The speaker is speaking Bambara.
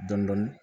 Dɔndɔni